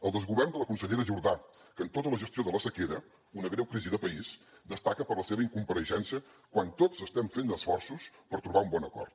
el desgovern de la consellera jordà que en tota la gestió de la sequera una greu crisi de país destaca per la seva incompareixença quan tots estem fent esforços per trobar un bon acord